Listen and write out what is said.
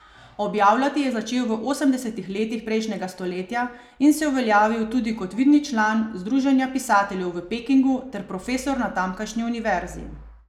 Objavljati je začel v osemdesetih letih prejšnjega stoletja in se uveljavil tudi kot vidni član Združenja pisateljev v Pekingu ter profesor na tamkajšnji univerzi.